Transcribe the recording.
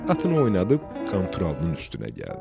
Atını oynadıb Qanturalının üstünə gəldi.